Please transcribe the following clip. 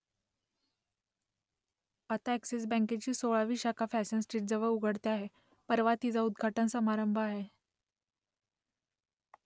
आता अ‍ॅक्सिस बँकेची सोळावी शाखा फॅशन स्ट्रीटजवळ उघडते आहे परवा तिचा उद्घाटन समारंभ आहे